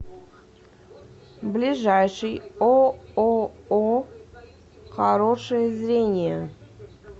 ближайший ооо хорошее зрение